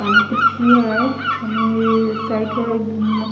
आणि खुर्ची आहे आणि साईड ला एक अ --